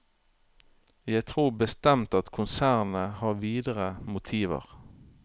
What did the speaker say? Jeg tror bestemt at konsernet har videre motiver.